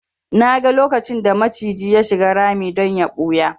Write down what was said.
Naga lokacin da maciji ya shiga rami don ya ɓuya